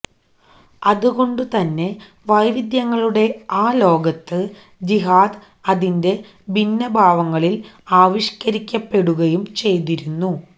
അതുകൊണ്ടുതന്നെ വൈവിധ്യങ്ങളുടെ ആ ലോകത്ത് ജിഹാദ് അതിന്റെ ഭിന്ന ഭാവങ്ങളില് ആവിഷ്കരിക്കപ്പെടുകയും ചെയ്തിരുന്നു